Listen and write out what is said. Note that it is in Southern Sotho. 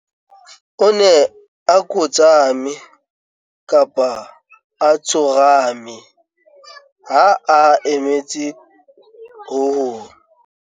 o ne a kotsame, tsorame ha a emetse ho hong